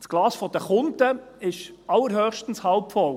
Das Glas der Kunden ist allerhöchstens halb voll.